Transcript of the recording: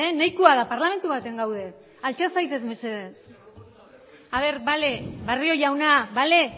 nahikoa da parlamentu batean gaude altxa zaitez mesedez bale barrio jauna bale